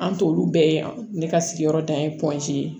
An t'olu bɛɛ ye ne ka sigiyɔrɔ dan ye ye